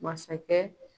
Masakɛ